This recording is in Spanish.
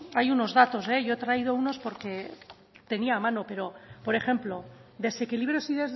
hay unos datos yo he traído unos porque tenía a mano pero por ejemplo desequilibrios y